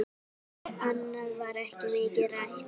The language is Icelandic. Annað var ekki mikið rætt.